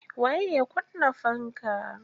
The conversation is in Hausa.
Waye ya kunna fanka?